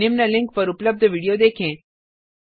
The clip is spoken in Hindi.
निम्न लिंक पर उपलब्ध विडियो देखें